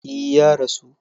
E, Ya rasu.